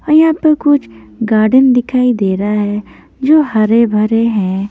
और यहां पर कुछ गार्डन दिखाई दे रहा है जो हरे भरे हैं।